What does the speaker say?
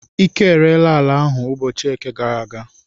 Ike ereela ala ahụ ụbọchị Eke gara aga.